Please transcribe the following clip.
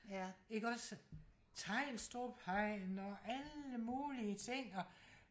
ja ikke også tegnstrup hegn og alle mulige ting og